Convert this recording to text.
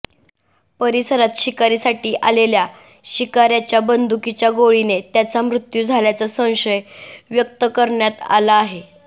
परिसरात शिकारीसाठी आलेल्या शिकार्याच्या बंदुकीच्या गोळीने त्याचा मृत्यू झाल्याचा संशय व्यक्त करण्यात आला आहे